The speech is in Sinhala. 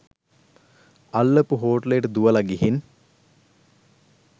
අල්ලපු හෝටලයට දුවලා ගිහින්